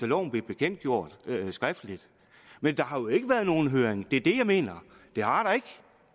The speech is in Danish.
loven blev bekendtgjort skriftligt men der har jo ikke været nogen høring det er det jeg mener det har der ikke